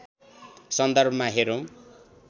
सन्दर्भमा हेरौँ